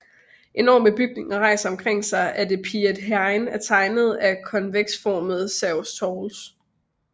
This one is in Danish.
Enorme bygninger rejser sig omkring det af Piet Hein tegnede konveksformede Sergels Torg